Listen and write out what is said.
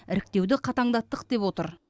іріктеуді қатаңдаттық деп отыр